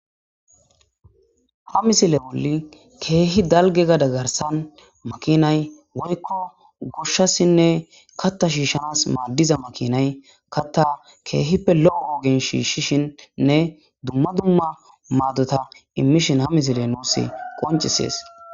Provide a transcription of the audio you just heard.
ha misile woli keehi dalge gada garsan makinay woykko gushshassinne katta shiishanas maaddiza makinay katta keehippe lo7o woogin shiishshishinnne dumma dumma maaddota immishin ha misile nuussi qoncisees